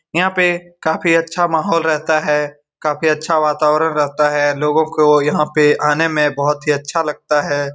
यहां पे काफी अच्छा माहौल रेहता है काफी अच्छा वातावरण रहता है लोगो को यहाँ पे आने मे बहुत ही अच्छा लगता है।